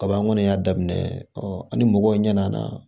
Kaban y'a daminɛ ɔ ani mɔgɔw ɲɛna